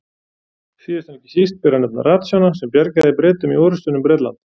Síðast en ekki síst ber að nefna ratsjána sem bjargaði Bretum í orrustunni um Bretland.